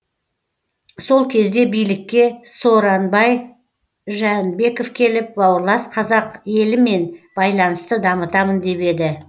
сол кезде билікке сооронбай жээнбеков келіп бауырлас қазақ елімен байланысты дамытамын деп еді